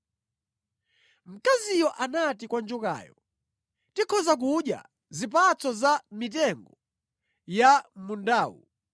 Mkaziyo anati kwa njokayo, “Tikhoza kudya zipatso za mʼmitengo ya mʼmundawu,